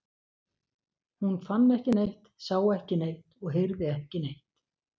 Hún fann ekki neitt, sá ekki neitt og heyrði ekki neitt.